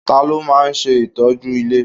Ta ló máa ń ṣe ìtọ́jú ilé?